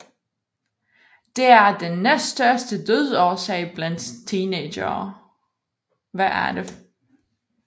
Det er den næststørste dødsårsag blandt teenagere